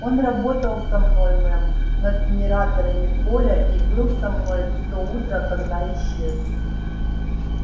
он работал со мной мэм над генераторами поля и был со мной в то утро когда исчез